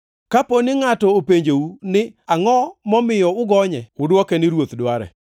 Kapo ngʼato openjou ni, ‘Angʼo momiyo ugonye?’ Udwoke ni, ‘Ruoth dware.’ ”